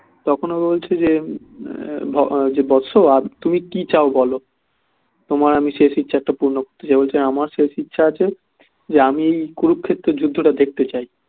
তখন ও বলছে যে বৎস আর তুমি কি চাও বলো তোমার আমি শেষ ইচ্ছা একটা আমি পূর্ণ করতে চাই বলছে আমার শেষ ইচ্ছা আছে যে আমি কুরুক্ষেত্রের যুদ্ধটা দেখতে চাই